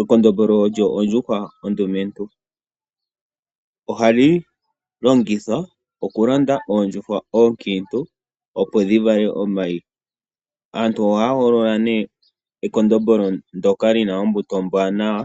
Ekondombolo olyo ondjuhwa ondumentu. Ohali longithwa oku londa uundjuhwa oonkiintu opo shi vale omayi. Aantu ohaya hogolola nee ekondombolo ndoka li na ombuto ombwaanawa